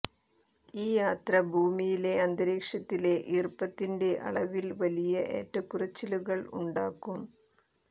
ഈ യാത്ര ഭൂമിയിലെ അന്തരീക്ഷത്തിലെ ഈർപ്പത്തിന്റെ അളവിൽ വലിയ ഏറ്റക്കുറച്ചിലുകൾ ഉണ്ടാക്കും